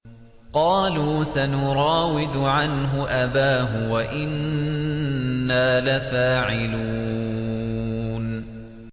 قَالُوا سَنُرَاوِدُ عَنْهُ أَبَاهُ وَإِنَّا لَفَاعِلُونَ